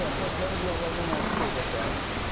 Pasdən qulaqlarına nakanın pastırəm.